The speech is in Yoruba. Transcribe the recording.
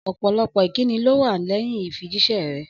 Ọ̀pọ̀lọpọ̀ ìkíni ló wà lẹ́yìn ìfijíṣẹ́ rẹ̀.